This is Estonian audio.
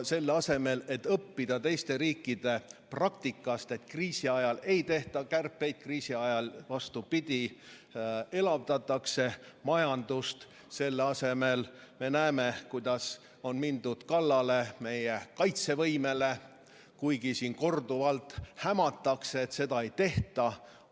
Selle asemel et õppida teiste riikide praktikast, et kriisi ajal ei tehta kärpeid, kriisi ajal, vastupidi, elavdatakse majandust, me näeme, kuidas on mindud kallale meie kaitsevõimele, kuigi korduvalt hämatakse, et seda ei tehta.